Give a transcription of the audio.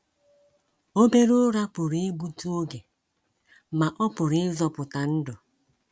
Obere ụra pụrụ igbutụ oge, ma ọ pụrụ ịzọpụta ndụ